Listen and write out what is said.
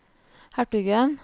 hertugen